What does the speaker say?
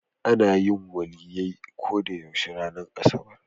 Ana yin Waliyyai ko da yaushe ranar asabar.